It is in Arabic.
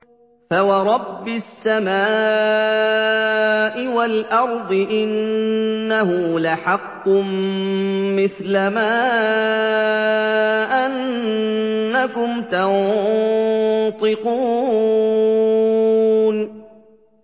فَوَرَبِّ السَّمَاءِ وَالْأَرْضِ إِنَّهُ لَحَقٌّ مِّثْلَ مَا أَنَّكُمْ تَنطِقُونَ